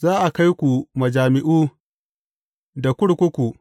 Za a kai ku majami’u, da kurkuku.